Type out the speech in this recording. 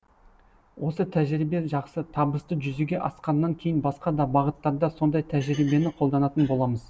осы тәжірибе жақсы табысты жүзеге асқаннан кейін басқа да бағыттарда сондай тәжірибені қолданатын боламыз